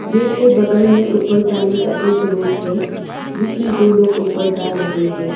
Gate के बगल में ऊपर जाने का एक रोड है जिसमें दो लोग ऊपर जा रहे हैं।